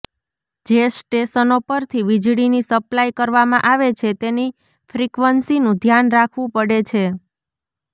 જે સ્ટેશનો પરથી વીજળીની સપ્લાય કરવામાં આવે છે તેની ફ્રિકવન્સીનું ધ્યાન રાખવું પડે છે